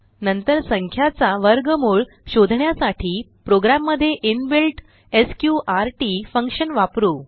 नंतर संख्याचा वर्गमूळ शोधण्यासाठी प्रोग्राम मध्ये इनबिल्ट एसक्यूआरटी फंक्शन वापरु